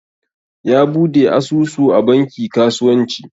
Ya bude asusu a banki kasuwanci.